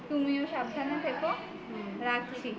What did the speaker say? তুমিও সাবধানে থেকো রাখছি